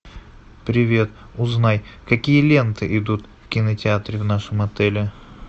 привет узнай какие ленты идут в кинотеатре в нашем отеле